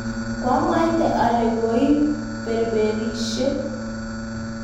koamwaite ale koiberberisio